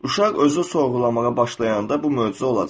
Uşaq özü sorğulamağa başlayanda bu möcüzə olacaq.